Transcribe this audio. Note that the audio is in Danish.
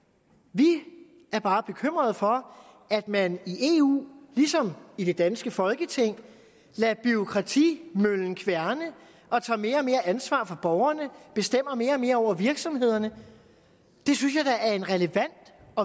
vi er bare bekymret for at man i eu ligesom i det danske folketing lader bureaukratimøllen kværne og tager mere og mere ansvar for borgerne bestemmer mere og mere over virksomhederne det synes jeg da er en relevant